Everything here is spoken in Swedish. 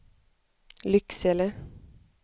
Lycksele